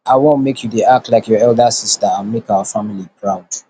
i wan make you dey act like your elder sister and make our family proud